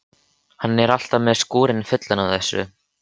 Hann er alltaf með skúrinn fullan af þessu.